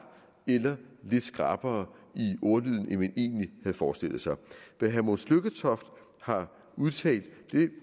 eller lidt skrappere i ordlyden end man egentlig havde forestillet sig det herre mogens lykketoft har udtalt